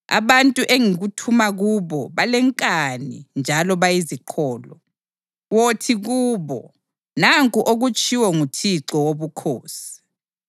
Abantu engikuthuma kubo balenkani njalo bayiziqholo. Wothi kubo, ‘Nanku okutshiwo nguThixo Wobukhosi.’